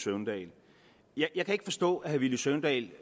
søvndal jeg kan ikke forstå at herre villy søvndal